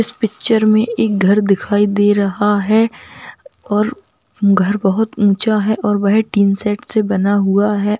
इस पिक्चर में एक घर दिखाई दे रहा है और घर बहुत ऊँचा है और वह टीन शेड से बना हुआ है।